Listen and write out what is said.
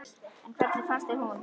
En hvernig fannst þér hún?